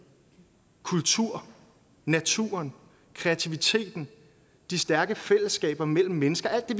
kultur naturen kreativiteten de stærke fællesskaber mellem mennesker alt det